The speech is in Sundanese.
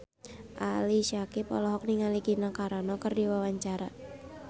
Ali Syakieb olohok ningali Gina Carano keur diwawancara